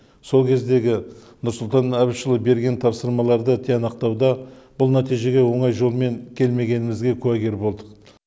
сол кездегі нұрсұлтан әбішұлы берген тапсырмаларды тиянақтауда бұл нәтижеге оңай жолмен келмегенімізге куәгер болдық